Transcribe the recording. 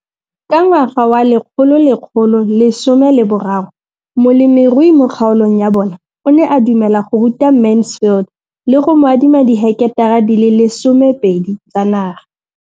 Ka ngwaga wa 2013, molemirui mo kgaolong ya bona o ne a dumela go ruta Mansfield le go mo adima di heketara di le 12 tsa naga.